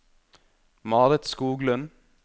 Marit Skoglund